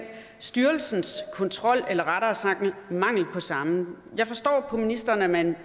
styrelsens kontrol eller rettere sagt mangel på samme jeg forstår på ministeren at man